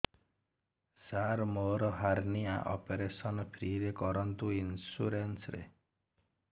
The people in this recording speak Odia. ସାର ମୋର ହାରନିଆ ଅପେରସନ ଫ୍ରି ରେ କରନ୍ତୁ ଇନ୍ସୁରେନ୍ସ ରେ